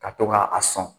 Ka to ka a sɔn